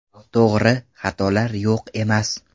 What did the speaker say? To‘g‘ri, xatolar yo‘q emas.